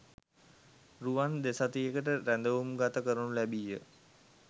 රුවන් දෙසතියකට රැඳවුම්ගත කරනු ලැබීය